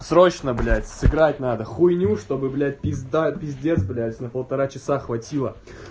срочно блять сыграть надо хуйню чтобы блять пизда пиздец быть на полтора часа хватило